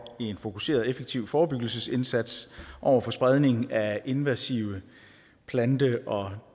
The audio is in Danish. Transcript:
en fokuseret effektiv forebyggelsesindsats over for spredning af invasive plante og